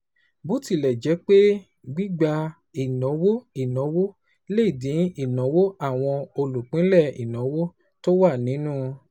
Bó tilẹ̀ jẹ́ pé gbígba ìnáwó ìnáwó lè dín ìnáwó àwọn olùpínlẹ̀ ìnáwó tó wà nínú